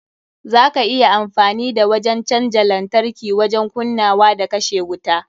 Za ka iya amfani da wajen canja lantarki wajen kunnawa da kashe wuta.